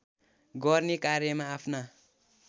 गर्ने कार्यमा आफ्ना